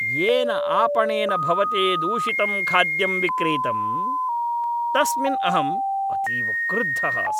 येन आपणेन भवते दूषितं खाद्यं विक्रीतं तस्मिन् अहम् अतीव क्रुद्धः अस्मि।